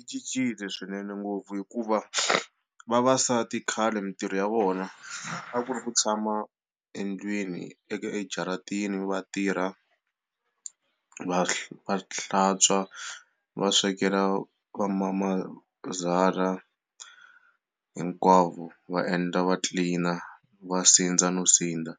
I cincile swinene ngopfu hikuva vavasati khale mitirho ya vona a ku ri ku tshama endlwini ejaratini va tirha va hla va hlantswa va swekela vamamazala hinkwavo va endla va tlilina va sindza no sindza